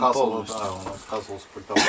Göstərirdi, bəli, pultdan göstərirdi.